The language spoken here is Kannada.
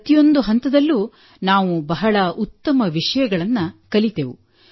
ಪ್ರತಿಯೊಂದು ಹಂತದಲ್ಲೂ ನಾವು ಬಹಳ ಉತ್ತಮ ವಿಷಯಗಳನ್ನು ಕಲಿತೆವು